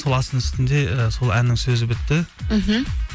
сол астың үстінде і сол әннің сөзі бітті мхм